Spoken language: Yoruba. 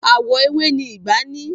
Àwọ̀ ewé ni ìgbá ní.